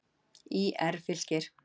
ÍR- Fylkir